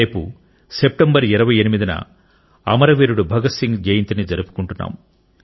రేపు సెప్టెంబర్ 28 న అమరవీరుడు భగత్ సింగ్ జయంతిని జరుపుకుంటున్నాం